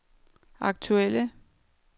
aktuelle